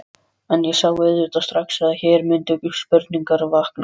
En ég sá auðvitað strax, að hér mundu spurningar vakna.